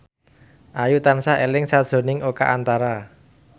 Ayu tansah eling sakjroning Oka Antara